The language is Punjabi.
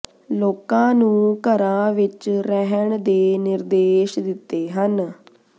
ਲੋਕਾਂ ਨੂੰ ਘਰਾਂ ਵਿਰ ਰਹਿਣ ਦੇ ਨਿਰਦੇਸ਼ ਦਿੱਤੇ ਹਨ